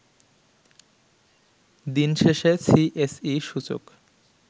দিন শেষেসিএসই সূচক